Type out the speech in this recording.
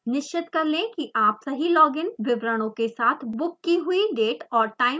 निश्चित कर लें कि आप सही लॉग इन विवरणों के साथ बुक की हुई डेट और टाइम पर लॉग इन करें